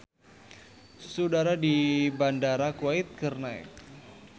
Suhu udara di Bandara Kuwait keur naek